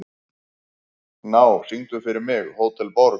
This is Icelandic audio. Gná, syngdu fyrir mig „Hótel Borg“.